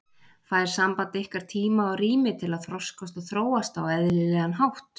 Fær samband ykkar tíma og rými til að þroskast og þróast á eðlilegan hátt?